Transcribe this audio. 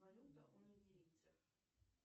валюта у нигерийцев